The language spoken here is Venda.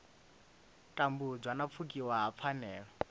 tambudzwa na pfukiwa ha pfanelo